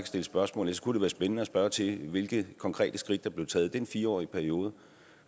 stille spørgsmål ellers kunne være spændende at spørge skipper til hvilke konkrete skridt der blev taget i den fire årige periode